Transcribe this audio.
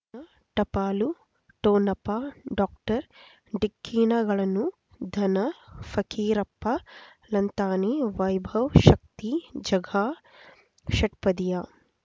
ಟಪಾಲು ಠೊಣಪ ಡಾಕ್ಟರ್ ಢಿಕ್ಕಿ ಣಗಳನು ಧನ ಫಕೀರಪ್ಪ ಳಂತಾನೆ ವೈಭವ್ ಶಕ್ತಿ ಝಗಾ ಷಟ್ಪದಿಯ